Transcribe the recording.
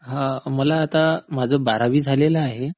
हा मला आता... माझं बारावी झालेलं आहे.